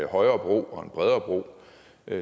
højere bro og en bredere bro